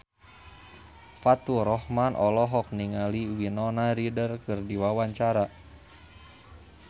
Faturrahman olohok ningali Winona Ryder keur diwawancara